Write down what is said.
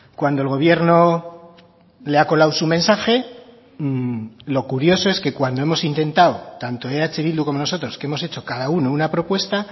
cuando el gobierno le ha colado su mensaje lo curioso es que cuando hemos intentado tanto eh bildu como nosotros que hemos hecho cada uno una propuesta